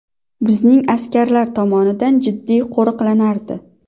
Bizning askarlar tomonidan jiddiy qo‘riqlanardi.